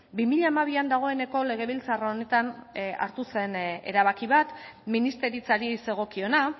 bi mila hamabian dagoeneko legebiltzar honetan hartu zen erabaki bat ministeritzari zegokiona